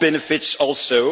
All benefits also.